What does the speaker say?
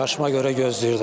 Yaşıma görə gözləyirdim.